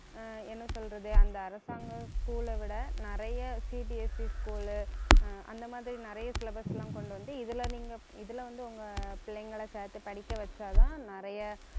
ஆஹ் என்ன சொல்றது அந்த அரசாங்க school அ விட நிறைய CBSE school உ ஆஹ் அந்த மாதிரி நிறைய syllabus எல்லாம் கொண்டு வந்து, இதுல நீங்க இதுல வந்து உங்க பிள்ளைங்களை சேர்த்து படிக்க வச்சாதான் நிறைய